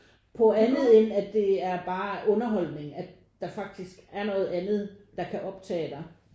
På andet end at det er bare underholdning at der faktisk er noget andet der kan optage dig